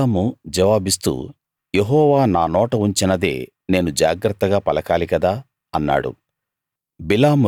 బిలాము జవాబిస్తూ యెహోవా నా నోట ఉంచినదే నేను జాగ్రత్తగా పలకాలి కదా అన్నాడు